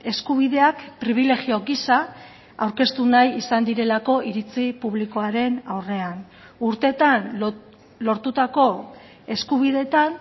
eskubideak pribilegio gisa aurkeztu nahi izan direlako iritzi publikoaren aurrean urteetan lortutako eskubideetan